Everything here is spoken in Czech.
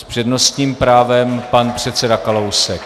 S přednostním právem pan předseda Kalousek.